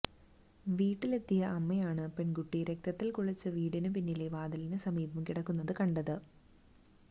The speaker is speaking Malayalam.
വീട്ടിലെത്തിയ അമ്മയാണ് പെണ്കുട്ടി രക്തത്തില് കുളിച്ച് വീട്ടിനു പിന്നിലെ വാതിലിനു സമീപം കിടക്കുന്നത് കണ്ടത്